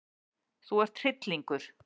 Þú ert hryllingur!